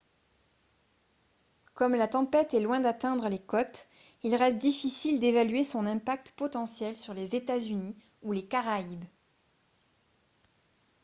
comme la tempête est loin d'atteindre les côtes il reste difficile d'évaluer son impact potentiel sur les états-unis ou les caraïbes